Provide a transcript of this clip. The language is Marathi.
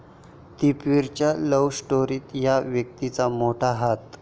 दीपवीरच्या लव्ह स्टोरीत 'या' व्यक्तीचा मोठा हात